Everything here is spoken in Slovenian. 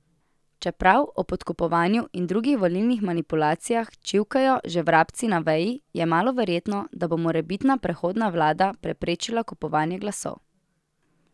Čeprav o podkupovanju in drugih volilnih manipulacijah čivkajo že vrabci na veji, je malo verjetno, da bo morebitna prehodna vlada preprečila kupovanje glasov.